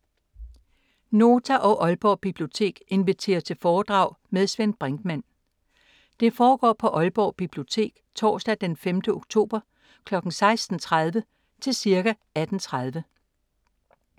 Nota og Aalborg Bibliotek inviterer til foredrag med Svend Brinkmann. Det foregår på Aalborg Bibliotek torsdag d. 5. oktober kl. 16:30 til cirka 18:30.